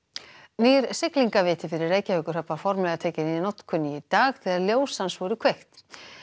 nýr fyrir Reykjavíkurhöfn var formlega tekinn í notkun í dag þegar ljós hans voru kveikt